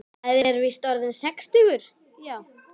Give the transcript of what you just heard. Maður er víst orðinn sextugur, já.